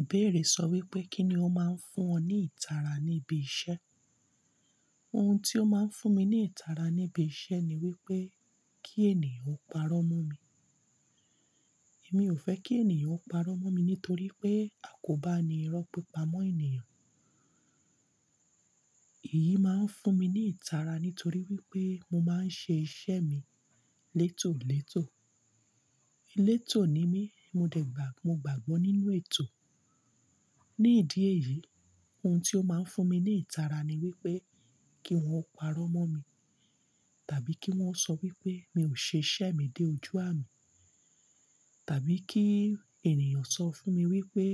Ìbéèrè sọ wípé, kí ni ó máa ń fún ọ ní ìtara ní ibi iṣẹ́? Oun tí ó máa ń fún mi ní ìtara níbi iṣẹ́ ni wípé kí ènìyàn ó parọ́ mọ́ mi. Èmi ò fẹ́ kí ènìyàn ó parọ́ mọ́ mi nítorí pé a kò bá ni irọ́ pípa mọ́ ènìyàn. Èyí máa ń fún mi ní ìtara nítorí wípé mo máa ń ṣe iṣẹ́ mi létòò létò. Elé tò ní mi, mo dàgbà, mo gbàgbọ́ nínú ètò. Ni ìdí èyí, oun tí ó máa ń fún mi ní ìtara ni wípé kí wón parọ́ mọ́ mi, tàbí kí wón sọ wípé mi ò ṣe iṣẹ́ mi dé ojú àmì, tàbí kí ènìyàn sọ fún mi wípé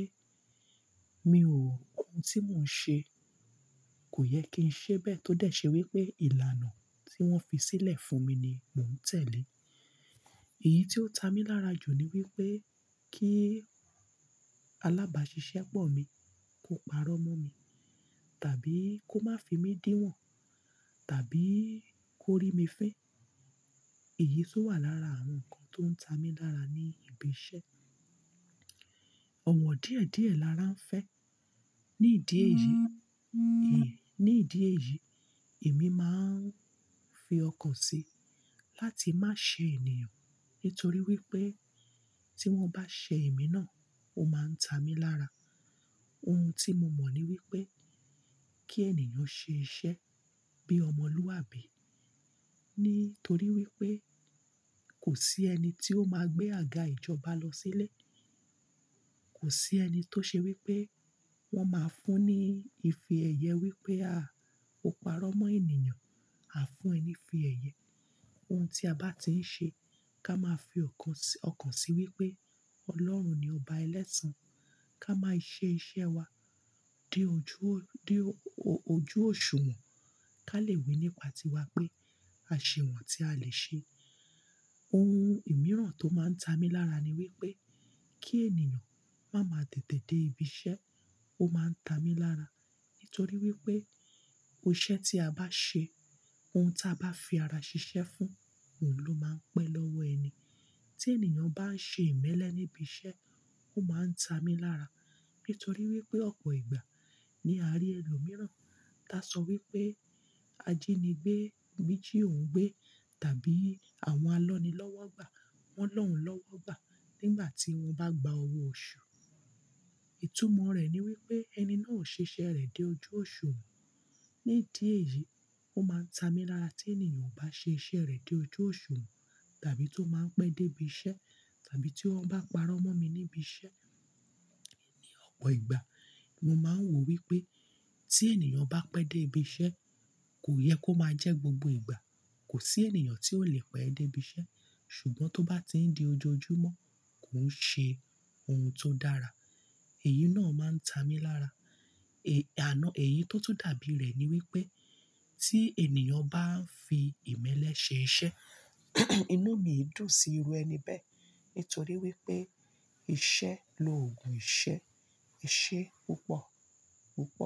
mi ò kun tí mò ń ṣe, kò yẹ kí n ṣe bẹ́ẹ̀ tó dẹ̀ ṣe wípé ìlànà tí wón fi sílẹ̀ fún mi ni mò ń tẹ̀lé. Èyí tí ó ta mí lára jù ni wípé kí alábàásisẹ́ pọ̀ mi, kó parọ́ mọ́ mi, tàbí kó má fi mí díwọ̀n, tàbí kó rí mi fín. Èyí tun wà lára àwọn nǹkan tó ń ta mi lára ní ibi iṣẹ́. Ọ̀wọ̀ díẹ̀díẹ̀ lara ń fẹ́. Ni ìdí èyí, ní ìdí èyí, èmi máa ń fi ọkàn sí láti má ṣe ènìyàn nítorí wípé tí wón bá ṣe èmi náà, ó máa ń ta mi lára. Oun tí mo mọ̀ ni wípé kí ènìyàn ṣe iṣẹ́ bí ọmọlúwàbí, nítorí wípé kò sí ẹni tí ó máa gbé àga ìjọba lọ sílé. Kò sí ẹni tó ṣe wípé wón máa ń fún ní ìfiẹ̀yẹ wípé, "à, ó parọ́ mọ́ ènìyàn", a fún ẹni ìfiẹ̀yẹ. Oun tí a bá ti ń ṣe, ká máa fi ọkàn sí, ọkàn sí wípé Ọlọ́run ni ọba ẹlẹ́sàn-án. Ká máa ṣe iṣẹ́ wa dé ojú, dé o-ojú òṣùwọ̀n. Ká lè wí nípa tiwa pé, "a ṣe wọ́n tí a lè ṣe". Oun ìmíràn tó máa ń ta mi lára ni wípé kí ènìyàn máa ma tètè dé ibi iṣẹ́, ó máa ń ta mi lára, nítorí wípé òṣẹ́ tí a bá ṣe, oun tí a bá fi ara ṣiṣẹ́ fún, òun ló máa ń pẹ́ lọ́wọ́ ẹni. Tí ènìyàn bá ń ṣe ìmẹ́lẹ́ níbi iṣẹ́, ó máa ń ta mi lára, nítorí wípé ọ̀pọ̀ ìgbà ni a rí ẹlòmíràn tá sọ wípé, "ajínigbé méjì ò ń gbé" tàbí "àwọn alọ́nilọ́wọ́gbà wọ́n lòun lọ́wọ́ gbà nígbà tí wón bá gba owó oṣù". Ìtumọ̀ rẹ̀ ni wípé ẹni náà ò ṣe iṣẹ́ rẹ̀ dé ojú òṣùwọ̀n. Ni ìdí èyí, ó máa ń ta mi lára tí ènìyàn ò bá ṣe iṣẹ́ rẹ̀ dé ojú òṣùwọ̀n, tàbí tó máa ń pẹ́ dé ibi iṣẹ́, tàbí tí wọ́n bá parọ́ mọ́ mi níbi iṣẹ́. Ni ọ̀pọ̀ ìgbà, mo máa ń wò wípé tí ènìyàn bá pẹ́ dé ibi iṣẹ́, kò yẹ kó máa jẹ́ gbogbo ìgbà. Kò sí ènìyàn tí ò lè pẹ́ dé ibi iṣẹ́, ṣùgbọ́n tó bá ti ń di ojoojúmọ́, kò ń ṣe oun tó dára. Èyí náà máa ń ta mi lára. È-- àná èyí tó tún dàbí rẹ̀ ni wípé tí ènìyàn bá ń fi ìmẹ́lẹ́ ṣe iṣẹ́, inú mi dùn sí irú ẹni bẹ́ẹ̀, nítorí wípé ìṣe lo ògùn ìṣe. Iṣẹ́ púpọ̀ púpọ̀.